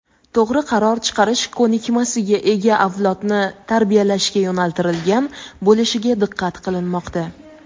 to‘g‘ri qaror chiqarish ko‘nikmasiga ega avlodni tarbiyalashga yo‘naltirilgan bo‘lishiga diqqat qilinmoqda.